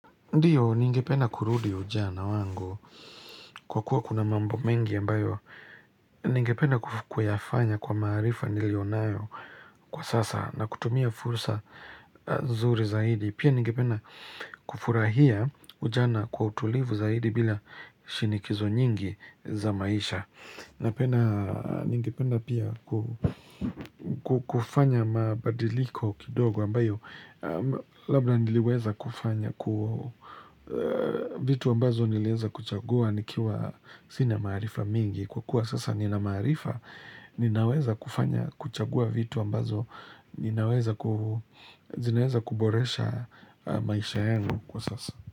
Ndiyo ningependa kurudi ujana wangu kwa kuwa kuna mambo mengi ambayo ningependa kuf kuyafanya kwa maarifa nilio nayo kwa sasa na kutumia fursa nzuri zaidi, Pia ningepena kufurahia ujana kwa utulivu zaidi bila shinikizo nyingi za maisha Napena ningependa pia ku kufanya mabadiliko kidogo ambayo labda niliweza kufanya ku vitu ambazo nilieza kuchagua nikiwa sina maarifa mengi kwa kua sasa nina maarifa ninaweza kufanya kuchagua vitu ambazo ninaweza ku zinaeza kuboresha maisha yangu kwa sasa.